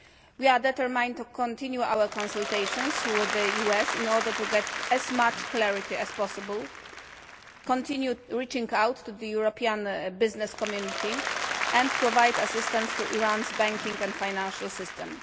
With that in mind, we can better continue our consultations with the US in order to get as much clarity as possible, continue reaching out to the European business community and provide assistance to Iran's banking and financial system.